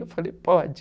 Eu falei, pode.